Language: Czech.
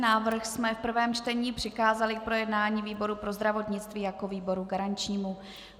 Návrh jsme v prvém čtení přikázali k projednání výboru pro zdravotnictví jako výboru garančnímu.